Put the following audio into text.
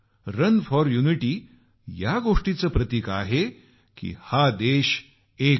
run for unity या गोष्टीचं प्रतिक आहे की हा देश एक आहे